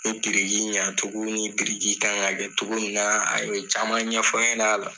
O biriki ɲa cogo ni biriki kan ka kɛ cogo min na , a ye caman ɲɛfɔ n ɲɛna la.